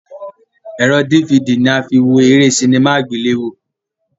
Ẹ̀rọ dífidì ní a fi wọ eré sinimá àgbéléwò.